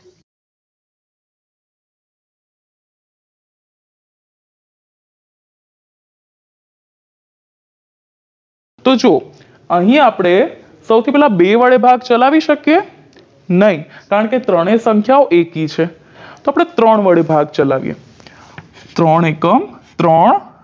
તો જુઓ અહીં આપણે સૌથી પેલા બે વડે ભાગ ચલાવી શકીએ નહિ કારણકે ત્રણેય સંખ્યાઓ એકી છે તો આપણે ત્રણ વડે ભાગ ચલાવીએ ત્રણ એકમ ત્રણ